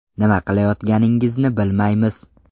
Nima qilayotganingizni bilmaymiz.